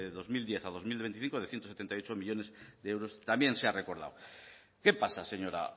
dos mil diez a dos mil veinticinco de ciento setenta y ocho millónes de euros también se ha recordado qué pasa señora